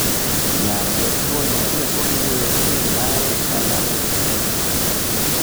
Nyar jatuwono ne pod wuoyo gi min mare ka lamo e simu.